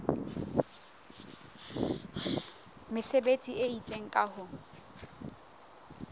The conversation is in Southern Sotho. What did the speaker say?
mesebetsi e itseng ka ho